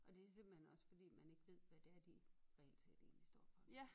Og det simpelthen også fordi man ikke ved hvad det er de reelt set egetlig står for